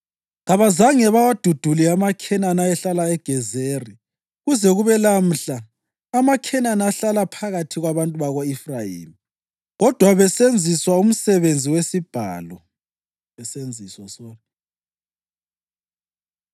Kabazange bawadudule amaKhenani ayehlala eGezeri; kuze kube lamhla amaKhenani ahlala phakathi kwabantu bako-Efrayimi kodwa besenziswa umsebenzi wesibhalo.